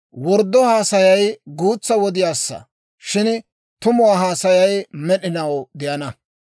Worddo haasayay guutsa wodiyaassa; shin tumo haasayay med'inaw de'ana.